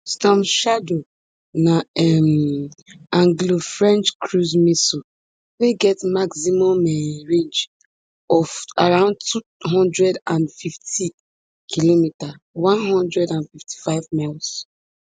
storm shadow na um anglofrench cruise missile wey get maximum um range of around two hundred and fifty kilometer one hundred and fifty-five miles